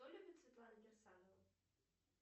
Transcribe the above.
что любит светлана кирсанова